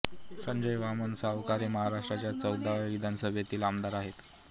संजय वामन सावकारे महाराष्ट्राच्या चौदाव्या विधानसभेतील आमदार आहेत